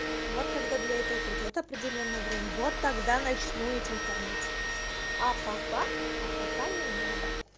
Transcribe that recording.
вот когда для этого придётся определённое время вот тогда начну этим кормить а пока а пока не надо